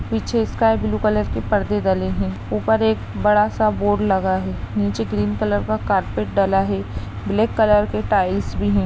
पीछे sky blue colour के पर्दे डले हैं। ऊपर एक बड़ा सा बोर्ड लगा है नीचे ग्रीन कलर का कार्पेट डला है। ब्लैक कलर के टाइल्स भी --